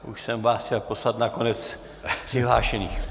Už jsem vás chtěl poslat na konec přihlášených.